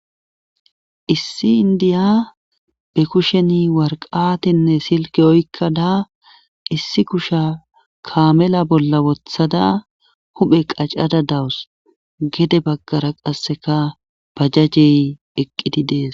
Issi indiya be kusheni warqatenne silke oykkada issi kusha kaamela bolla wothada huphe qacada dawus gede baggara qasseka pajajey eqqidi dees.